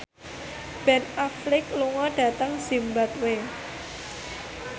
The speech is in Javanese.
Ben Affleck lunga dhateng zimbabwe